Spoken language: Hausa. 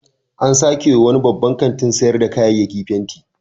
An sake wa wani babban kantin sayar da kayayyaki fenti.